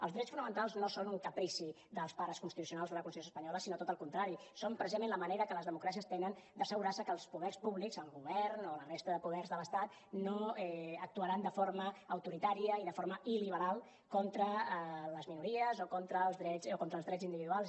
els drets fonamentals no són un caprici dels pares constitucionals de la constitució espanyola sinó tot el contrari són precisament la manera que les democràcies tenen d’assegurar se que els poders públics el govern o la resta de poders de l’estat no actuaran de forma autoritària i de forma il·liberal contra les minories o contra els drets individuals